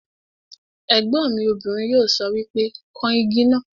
Ègbọ́n mi obìnrin yóò sọ wípé 'kan Igi náà '